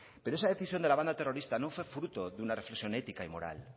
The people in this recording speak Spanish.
pero esa decisión de la banda terrorista no fue fruto de una reflexión ética y moral